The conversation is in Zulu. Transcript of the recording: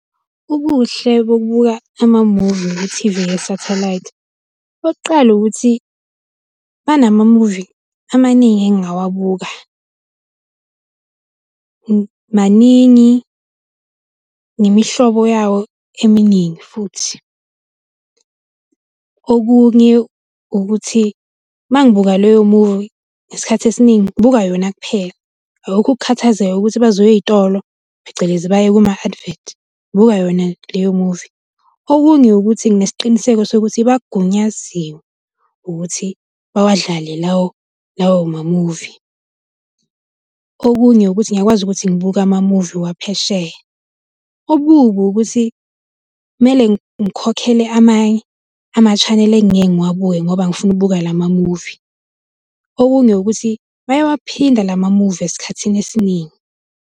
Ubuhle bokubuka amamuvi kuthivi yesathelayithi, okokuqala ukuthi banamamuvi amaningi engingawabuka. Maningi ngemihlobo yawo eminingi futhi. Okunye ukuthi uma ngibuka leyo movie, isikhathi esiningi ngibuka yona kuphela. Akukho ukukhathazeka ukuthi bazoya ey'tolo, phecelezi baye kuma-advert, ngibuka yona leyo movie. Okunye ukuthi nginesiqiniseko sokuthi bagunyaziwe ukuthi bawadlale lawo lawo mamuvi. Okunye ukuthi ngiyakwazi ukuthi ngibuke amamuvi waphesheya. Okubi ukuthi kumele ngikhokhele amanye ama-channel engike ngiwabuke ngoba ngifuna ukubuka la mamuvi. Okunye ukuthi bayawaphinda la mamuvi esikhathini esiningi.